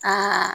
Ka